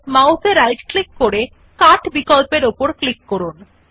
mouse এ right click করে cut বিকল্পর উপর ক্লিক করুন